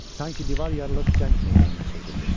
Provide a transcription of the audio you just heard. Sanki divar yarılıb cəng meydanına çevrildi.